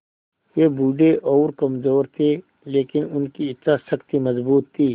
वे बूढ़े और कमज़ोर थे लेकिन उनकी इच्छा शक्ति मज़बूत थी